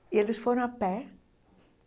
e eles foram a pé.